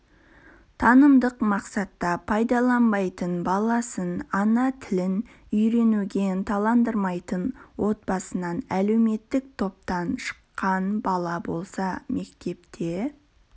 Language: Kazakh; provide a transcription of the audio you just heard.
танымдық мақсатта пайдаланбайтын баласын ана тілін үйренуге ынталандырмайтын отбасынан әлеуметтік топтан шыққан бала болса мектепте